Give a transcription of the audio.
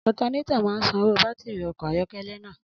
Alternator máa ń san owó bátìrì ọkọ̀ ayọ́kẹ́lẹ́ náà.